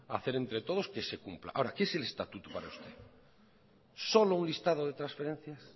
a hacer entre todos que se cumpla ahora qué es el estatuto para usted solo un listado de transferencias